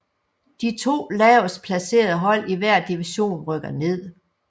De to lavest placerede hold i hver division rykkes ned